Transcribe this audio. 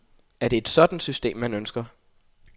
Er det et sådant system, man ønsker?